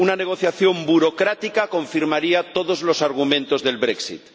Una negociación burocrática confirmaría todos los argumentos del brexit